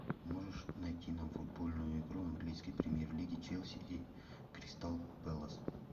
можешь найти нам футбольную игру английской премьер лиги челси и кристал пэлас